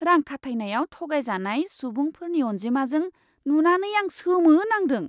रां खाथायनायाव थगायजानाय सुबुंफोरनि अन्जिमाजों नुनानै आं सोमोनांदों!